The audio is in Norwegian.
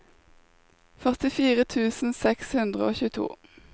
førtifire tusen seks hundre og tjueto